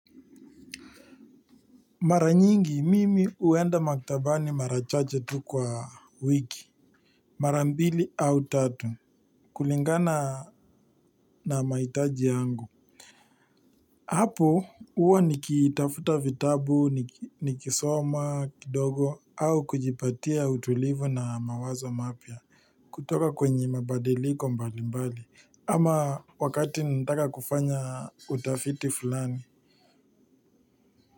Mara nyingi mimi huenda maktabani mara chache tu kwa wiki. Mara mbili au tatu kulingana na mahitaji yangu hapo huwa nikitafuta vitabu nikisoma kidogo au kujipatia utulivu na mawazo mapya kutoka kwenye mabadiliko mbalimbali ama wakati nataka kufanya utafiti fulani.